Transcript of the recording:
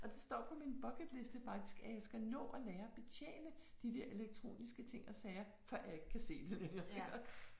Og det står på min bucket liste faktisk at jeg skal nå at lære betjene de der elektroniske ting og sager før jeg ikke kan se det længere iggås